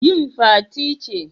Yin Fati ce